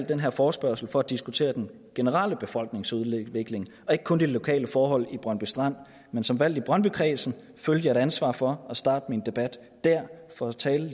den her forespørgsel for at diskutere den generelle befolkningsudvikling og ikke kun de lokale forhold i brøndby strand men som valgt i brøndbykredsen føler jeg et ansvar for at starte min tale dér og tale